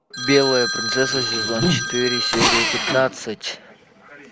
белая принцесса сезон четыре серия пятнадцать